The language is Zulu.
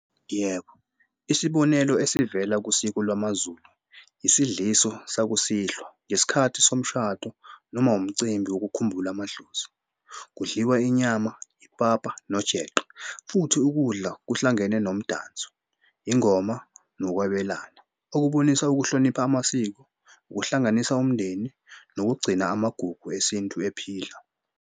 Yebo, isibonelo esivela kusiko lwamaZulu isidliso sakusihlwa ngesikhathi somshado noma wumcimbi wokukhumbula amadlozi. Kudliwa inyama, ipapa nojeqe futhi ukudla kuhlangene nomdanso yingoma nokwabelana okubonisa ukuhlonipha amasiko ukuhlanganisa umndeni nokugcina amagugu esintu ephila.